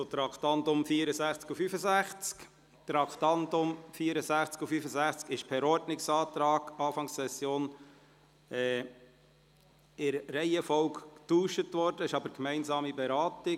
Die Traktanden 64 und 65 sind am Anfang der Session per Ordnungsantrag in der Reihenfolge getauscht worden, sie werden jedoch gemeinsam beraten.